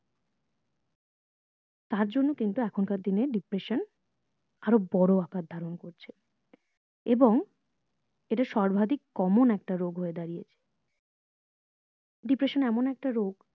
তার জন্য কিন্তু এখন কার দিনে depression আরো বোরো আকার ধারণ করছে এবং এটা সর্বাধিক common একটা রোগ হয়ে দাঁড়িয়েছে depression এমন একটা রোগ